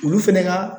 Olu fɛnɛ ka